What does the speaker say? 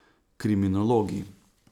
Kriminologi.